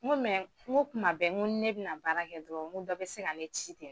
N ko n ko kuma bɛɛ ni ne be na n ka baara kɛ dɔrɔn n ko dɔ be se ka ne ci ten.